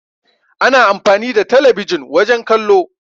Ana amfani da telebijin wajen kallo.